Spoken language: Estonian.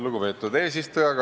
Lugupeetud eesistuja!